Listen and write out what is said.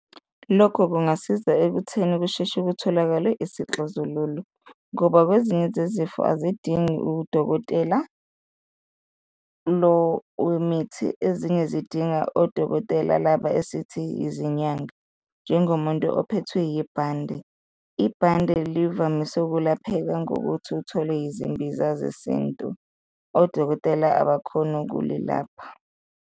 Lokho kungasiza ekutheni kusheshe kutholakale isixazululo ngoba kwezinye zezifo azidingi udokotela lo wemithi, ezinye zidinga odokotela laba esithi yizinyanga, njengomuntu ophethwe yibhande, ibhande livamise ukulapheka ngokuthi uthole izimbiza zesintu, odokotela abakhoni ukulilapha.